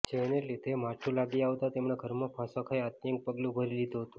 જેને લીધે માઠું લાગી આવતા તેમણે ઘરમાં ફાંસો ખાઈ આત્યંતિક પગલું ભરી લીધું હતું